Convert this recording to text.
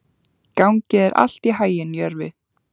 Gangi þér allt í haginn, Jörvi.